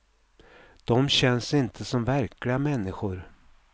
Dom känns inte som verkliga människor.